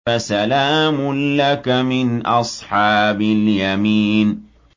فَسَلَامٌ لَّكَ مِنْ أَصْحَابِ الْيَمِينِ